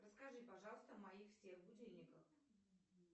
расскажи пожалуйста о моих всех будильниках